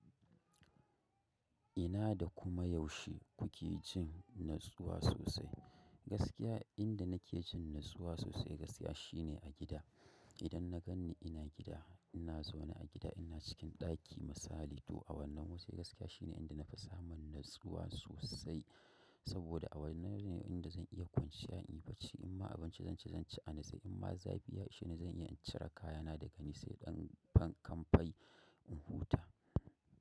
Ina da kuma yaushe kuke jin natsuwa sosai? Gaskiya inda nake jin natsuwa sosai gaskiya shine a gida. Idan na gan ni ina gida, ina zaune a gida, ina cikin ɗaki misali to wannan wasu gaskiya shine inda na fi samun natsuwa sosai. Saboda a wannan ne inda zan iya kwanciya in yi barci. In ma abinci zan ci zan ci a nitse in ma zafi ya isheni zan iya in cire kayana daga ni sai ɗan kanfai in huta.